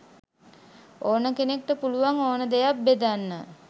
ඕන කෙනෙක්ට පුළුවන් ඕන දෙයක් බෙදන්න.